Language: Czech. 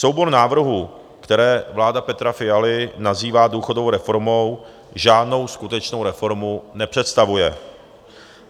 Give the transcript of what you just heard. Soubor návrhů, které vláda Petra Fialy nazývá důchodovou reformou, žádnou skutečnou reformu nepředstavuje.